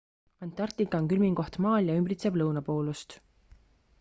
antarktika on külmim koht maal ja ümbritseb lõunapoolust